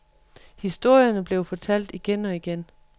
Historierne blev fortalt igen og igen.